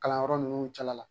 Kalanyɔrɔ ninnu cɛla la.